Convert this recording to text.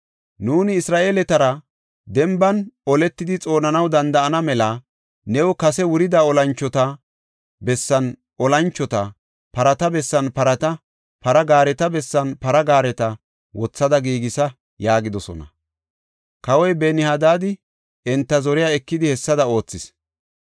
Nuuni Isra7eeletara denban oletidi xoonanaw danda7ana mela new kase wurida olanchota bessan olanchota, parata bessan parata, para gaareta bessan para gaareta wothada giigisa” yaagidosona. Kawoy Ben-Hadaadi enta zoriya ekidi hessada oothis.